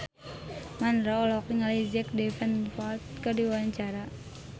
Mandra olohok ningali Jack Davenport keur diwawancara